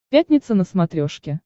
пятница на смотрешке